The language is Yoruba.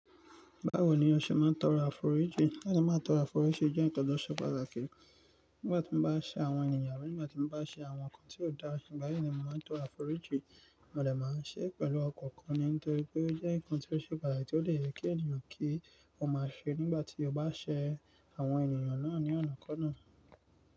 Báwo ni a ṣe máa ń tọrọ àforíjì? Ale máa ń tọrọ àforíjì jẹ́ nkan sọ pàtàkì. Nígbà tí mo bá ṣe àwọn ènìyàn àbí nígbà tí mo bá ṣe àwọn nǹkan tí ó dára, nígbà yìí ni mo máa ń tọrọ àforíjì. Mode máa ń ṣe pẹ̀lú ọkàn kan ni nítorí pé ó jẹ́ nǹkan tí ó ṣe pàtàkì tí ó lè yẹ kí ènìyàn kí ó máa ṣe nígbà tí ó bá ṣe àwọn ènìyàn náà ní ọ̀nà ki ona.